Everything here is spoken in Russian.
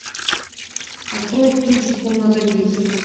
открой кинчик комната десять